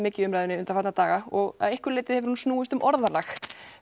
mikið í umræðunni undanfarna daga og að einhverju leyti hefur hún snúist um orðalag